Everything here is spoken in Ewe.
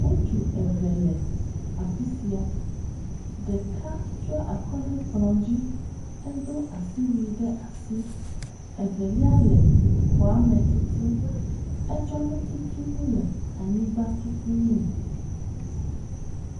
Ŋutsu eve le afi sia, ɖeka tsiɔ akɔ ɖe kplɔ dzi eɖiɔ asiwui ɖe asi, evelia le xɔ me tutum, etsɔ nututunu le anyigba tutum.